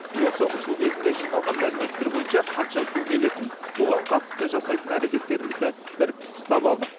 осы ұшу кезінде жиналған мәліметтер бойынша қанша су келетінін оған қатысты жасайтын әрекеттерімізді бір пысықтап алдық